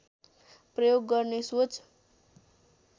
प्रयोग गर्ने सोच